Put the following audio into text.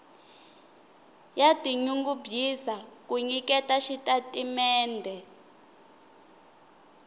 ya tinyungubyisa ku nyiketa xitatimendhe